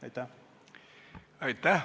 Aitäh!